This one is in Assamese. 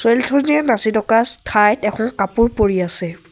জনীয়ে নাচি থকা স্থাইত এখন কাপোৰ পৰি আছে।